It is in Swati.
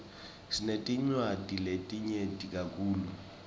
sinetinwadzi letinyeti kakhulu